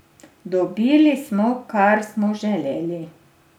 Dobili smo, kar smo želeli.